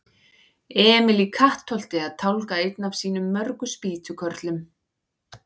Emil í Kattholti að tálga einn af sínum mörgu spýtukörlum.